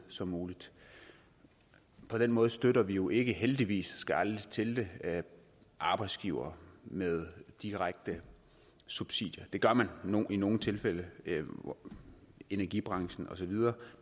som muligt på den måde støtter vi jo ikke heldigvis skal aldrig til det arbejdsgivere med direkte subsidier det gør man i nogle tilfælde energibranchen osv